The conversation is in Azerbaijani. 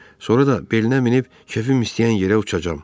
Sonra da belinə minib kefim istəyən yerə uçacam.